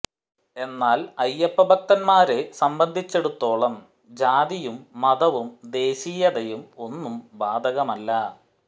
എന്നാൽ അയ്യപ്പ ഭക്തന്മാരെ സംബന്ധിച്ചിടത്തോളം ജാതിയും മതവും ദേശീയതയും ഒന്നും ബാധകമല്ല